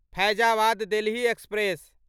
Faizabad Delhi express